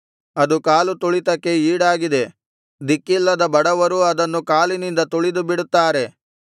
ಅದು ಕಾಲು ತುಳಿತಕ್ಕೆ ಈಡಾಗಿದೆ ದಿಕ್ಕಿಲ್ಲದ ಬಡವರೂ ಅದನ್ನು ಕಾಲಿನಿಂದ ತುಳಿದು ಬಿಡುತ್ತಾರೆ